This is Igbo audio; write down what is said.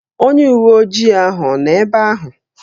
Onye uwe ojii ahụ ọ nọ ebe ahụ?